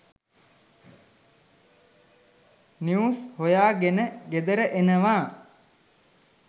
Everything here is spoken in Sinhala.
නිවුස් හොයා ගෙන ගෙදර එනවා.